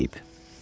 deyip.